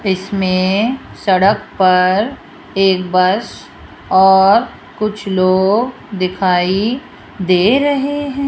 इसमें सड़क पर एक बस और कुछ लोग दिखाई दे रहे हैं।